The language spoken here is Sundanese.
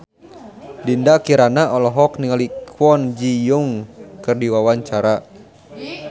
Dinda Kirana olohok ningali Kwon Ji Yong keur diwawancara